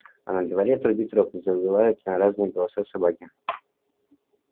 а на дворе трубит рог и завывают на разные голоса собаки